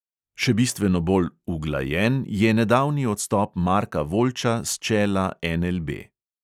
Še bistveno bolj "uglajen" je nedavni odstop marka voljča s čela NLB.